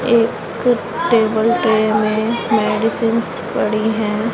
एक टेबल पे में मेडिसिंस पड़ी है।